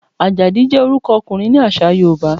Àjàdí jẹ́ orúkọ ọkùnrin ní àṣà Yorùbá.